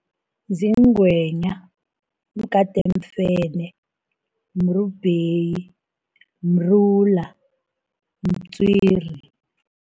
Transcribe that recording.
Ziingwenya, mgadeemfene, mrubheyi, mrula, mtswiri